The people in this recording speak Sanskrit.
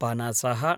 पनसः